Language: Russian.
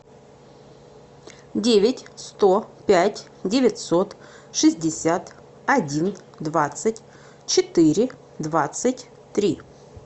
девять сто пять девятьсот шестьдесят один двадцать четыре двадцать три